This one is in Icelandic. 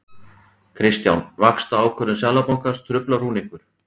Kristján: Vaxtaákvörðun Seðlabankans, truflar hún ykkur?